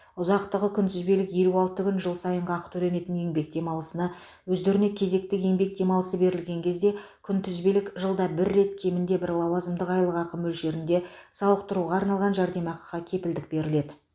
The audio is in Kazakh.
ұзақтығы күнтізбелік елі алты күн жыл сайынғы ақы төленетін еңбек демалысына өздеріне кезекті еңбек демалысы берілген кезде күнтізбелік жылда бір рет кемінде бір лауазымдық айлықақы мөлшерінде сауықтыруға арналған жәрдемақыға кепілдік беріледі